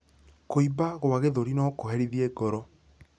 Kuimba kwa gĩthũri nokurehithie ngoro